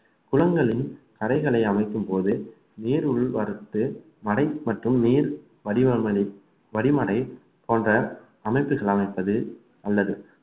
குளங்களில் கரைகளை அமைக்கும்போது நீர் உள் வரத்து மடை மற்றும் நீர் வடிவங்களை வடிமடை போன்ற அமைப்புகள் அமைப்பது அல்லது